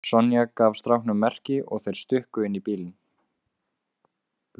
Sonja gaf strákunum merki og þeir stukku inn í bílinn.